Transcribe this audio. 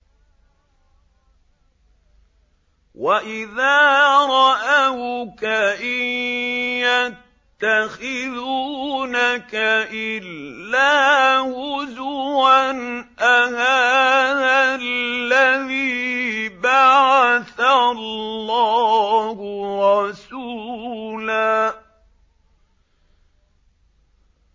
وَإِذَا رَأَوْكَ إِن يَتَّخِذُونَكَ إِلَّا هُزُوًا أَهَٰذَا الَّذِي بَعَثَ اللَّهُ رَسُولًا